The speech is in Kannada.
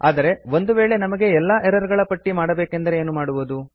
ಆದರೆ ಒಂದು ವೇಳೆ ನಮಗೆ ಎಲ್ಲ ಎರರ್ ಗಳ ಪಟ್ಟಿ ಮಾಡಬೇಕೆಂದರೆ ಏನು ಮಾಡುವುದು